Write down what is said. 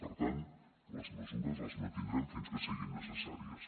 per tant les mesures les mantindrem fins que siguin necessàries